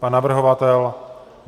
Pan navrhovatel?